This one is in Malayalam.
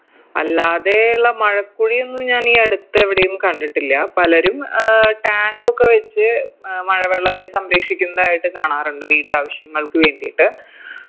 അല്ലാതെയുള്ള മഴക്കുഴിയൊന്നും ഞാനീ അടുത്തെവിടെയും കണ്ടിട്ടില്ല പലരും ഏർ tank ഒക്കെ വെച്ച് അഹ് മഴവെള്ളത്തെ സംരക്ഷിക്കുന്നതായിട്ട് കാണാറുണ്ട് വീട്ടാവശ്യങ്ങൾക്ക് വേണ്ടീട്ട്